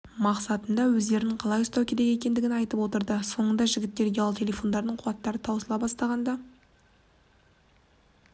мақсатында өздерін қалай ұстау керек екендігін айтып отырды соңында жігіттердің ұялы телефондарының қуаттары таусыла бастағанда